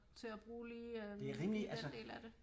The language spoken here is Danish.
Til at bruge lige øh den del af det